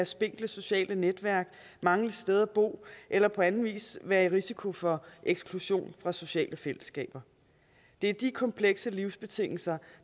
spinkle sociale netværk mangle et sted at bo eller på anden vis være i risiko for eksklusion fra sociale fællesskaber det er de komplekse livsbetingelser